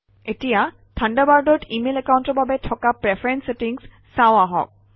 এতিয়া থাণ্ডাৰবাৰ্ডত ইমেইল একাউণ্টৰ বাবে থকা প্ৰিফাৰেন্স ছেটিংছ চাওঁ আহক